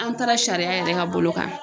An taara sariya yɛrɛ ka bolo kan.